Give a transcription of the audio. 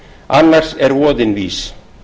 annars er voðinn vís